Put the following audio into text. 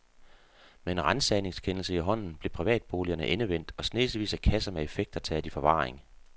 Med en ransagningskendelse i hånden blev privatboligerne endevendt og snesevis af kasser med effekter taget i forvaring.